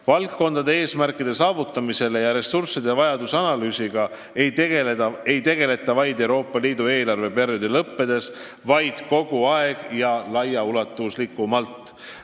Valdkondade eesmärkide saavutamise ja ressursside vajaduse analüüsiga ei tegelda ainult Euroopa Liidu eelarveperioodi lõppedes, vaid kogu aeg ja laiaulatuslikult.